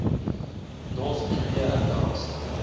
north korea announced